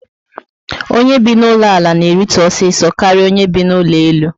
Onye bi na ụlọ ala na eritu osiso karịa onye bi na ụlọ elu